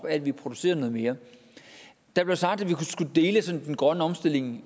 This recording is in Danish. at vi producerer noget mere der blev sagt at vi skulle deles om den grønne omstilling